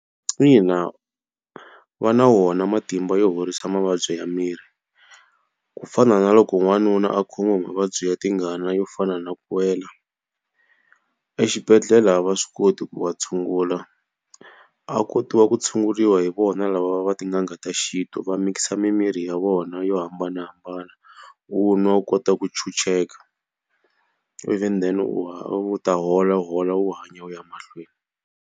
Ina va na wona matimba yo horisa mavabyi ya miri. Ku fana na loko n'wanuna a khomiwa hi mavabyi ya tingana yo fana na ku wela. exibedhela va swi koti ku wa tshungula, ya kotiwa ku tshunguriwa hi vona lava va tin'anga ta xintu va mix-a mimirhi ya vona yo hambanahambana u nwa u kota ku ntshunxeka. Ivi then u u ta hola hola u hanya u ya mahlweni.